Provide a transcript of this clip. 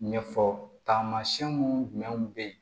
Ɲɛfɔ taamasiyɛn mun jumɛnw bɛ ye